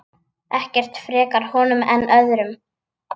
Ekkert frekar honum en öðrum.